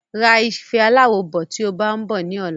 Ra ife aláwo bọ̀ tí o bá ń bọ̀ ní ọ̀la